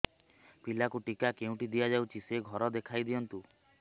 ପିଲାକୁ ଟିକା କେଉଁଠି ଦିଆଯାଉଛି ସେ ଘର ଦେଖାଇ ଦିଅନ୍ତୁ